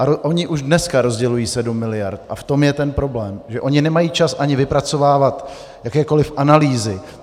A oni už dneska rozdělují 7 miliard a v tom je ten problém, že oni nemají čas ani vypracovávat jakékoliv analýzy.